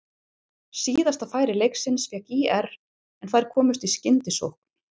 Síðasta færi leiksins fékk ÍR en þær komust í skyndisókn.